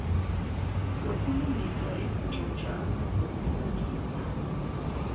lokulungisa izincwajana zokulungisa